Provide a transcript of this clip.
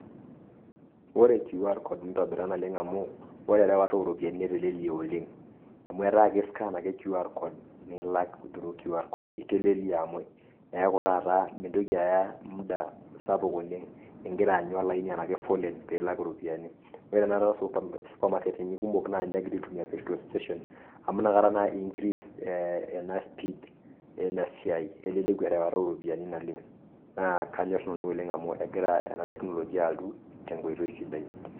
Ore QR code nitobita naleng' amuu ore erewata ooropiyani netelelea oleng' amuu ataa kiskan ake QR code nilak cs[through]cs QR code itelelea amuu iyaku taata mintoki aya mda sapuk oleng' ingira aanyu laini enaa kefolen piilak iropiyiani kore taa osupa supamaketini kumok naa ninye egira aitumiyaa cs[Petrol station]cs amu ntankare ake increas eh ena speed ena siai eleleku erawata eoropiyiani naleng' naa kanyor nanu oleng' amu egira ana teknolojia altu tenkoitoi sidai.